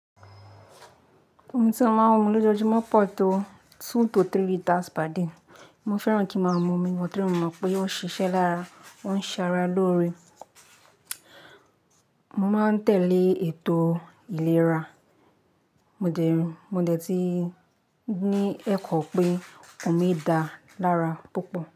Omi tí á máa ń mu lójoojúmọ́ pọ̀ tó two to three litres per day. Mo fẹ́ràn kí máa mu omi, nítorí mo mọ̀ pé ó ń ṣiṣẹ́ lára, ó ń ṣara lóore. Mo máa ń tẹ̀lé ètò ìlera, mo dẹ̀ ti ní ẹ̀kọ́ pé omi dáa lára púpọ̀